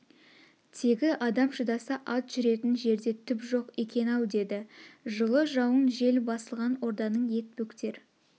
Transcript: тегі адам шыдаса ат жүретн жерде түп жоқ екен-ау деді жылы жауын жел басылған орданың ет-бөктер